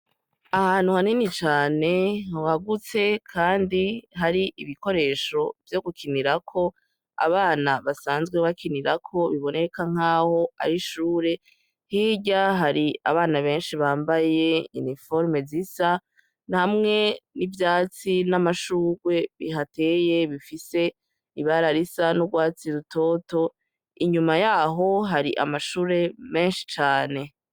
Ahantu hanini cane wagutse kandi hari ibikoresho vyo gukinirako abana basanzwe bakinirako biboneka nkaho arishure, hirya hari abana benshi bambaye iniforume zisa namwe n'ivyatsi n'amashurwe bihateye bifise ibara risa n'urwatsi rutoto inyuma yaho hari amashure menshi cane.